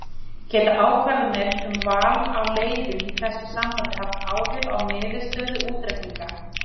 Geta ákvarðanir um val á leiðum í þessu sambandi haft áhrif á niðurstöðu útreikninga?